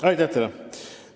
Aitäh teile!